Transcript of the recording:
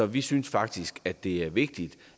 vi synes faktisk at det er vigtigt